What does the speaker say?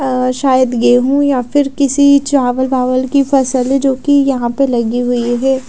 अ शायद गेहू या फिर किसी चावल वावल की फसल है जोकि यहाँ पर लगी हुई है।